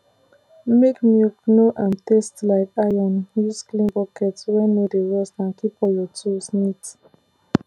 make milk no um taste like iron use clean bucket wey no dey rust and keep all your tools neat